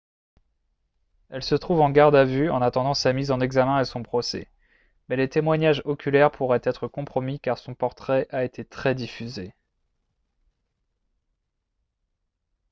elle se trouve en garde en vue en attendant sa mise en examen et son procès mais les témoignages oculaires pourraient être compromis car son portrait a été très diffusé